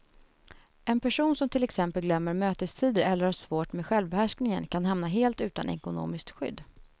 En person som till exempel glömmer mötestider eller har svårt med självbehärskningen kan hamna helt utan ekonomiskt skydd.